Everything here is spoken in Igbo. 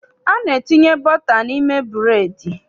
A na-etinye bọta n'ime bụreedị.